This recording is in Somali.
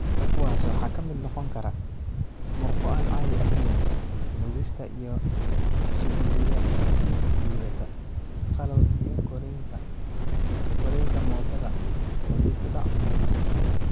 Kuwaas waxaa ka mid noqon kara murqo aan caadi ahayn; nuugista iyo isuduwidda liidata; qalal; iyo korriinka mootada oo dib u dhac ku yimid.